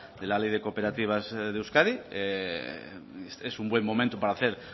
de la ley de cooperativas de euskadi es un buen momento para hacer